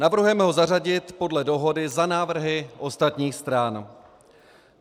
Navrhujeme ho zařadit podle dohody za návrhy ostatních stran.